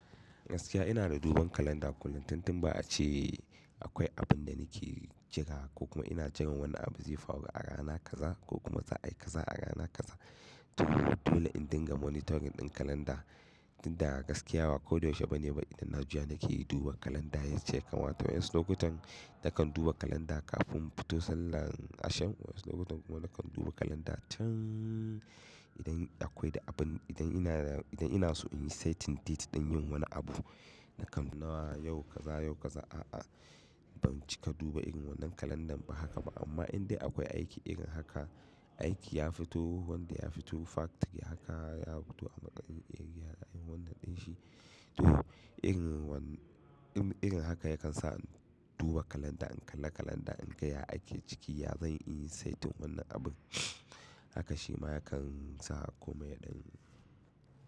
Gaskiya ina da duban kalanda kullun, tun tun ba a ce akwai abun da nake jira, ko kuma ina jiran wani abu zai faru a rana kaza, ko kuma za'a yi kaza a rana kaza. To dole in dinga monitoring ɗin kalanda. Tinda gaskiya ba ko da yaushe ba ne ba idan na juya nake duba kalanda yacce ya kamata, waƴansu lokutan nakan duba kalanda kafin in fito sallan Asham. Wasu lokutan kuma nakan duba kalanda can idan akwai da abin, idan ina da, idan ina so in yi setting date ɗin yin wani abu. Nakan nawa yau kaza, yau kaza, a'a ban cika duba irin wannan kalandan ba haka ba. Amma indai akwai aiki irin haka, aiki ya fito, wanda ya fito factory haka, ya fito a matsayin area an yi wannan ɗin shi, to irin wannan, irin haka yakan sa in duba kalanda, in kalla kalanda, in ga ya ake ciki ya zan iya setin wannan abun. Haka shi ma yakan sa komai ya ɗan.